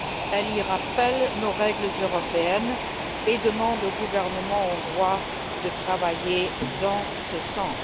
Elle lui rappelle nos règles européennes et demande au gouvernement hongrois de travailler dans ce sens.